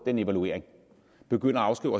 den evaluering begynde at afskrive